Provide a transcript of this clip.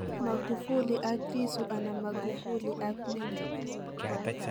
Magufuli ak Lissu anan Magufuli ak Membe?